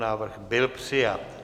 Návrh byl přijat.